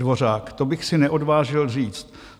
Dvořák: "To bych si neodvážil říct.